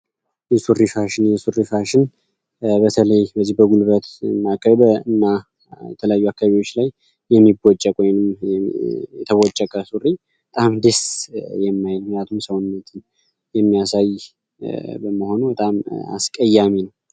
የሱሪ ፋሽን የሱሪ ፋሽን በተለይ በጉልበት መቅደድ የተለያዩ አካባቢዎች ላይ የሚቦጭቅ የተቦጨቀ ሱሪ ሰውነት የሚአሳይ መሆኑ በጣም አስቀያሚ ነው።